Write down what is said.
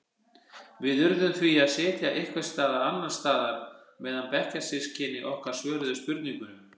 Við urðum því að sitja einhvers staðar annars staðar meðan bekkjarsystkini okkar svöruðu spurningunum.